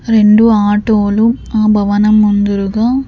రెండు ఆటోలు ఆ భవనం ముందురుగా--